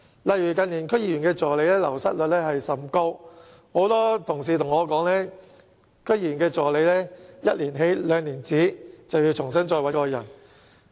例如近年區議員助理的流失率甚高，很多同事告訴我，區議員助理"一年起，兩年止"，便須重新再進行招聘。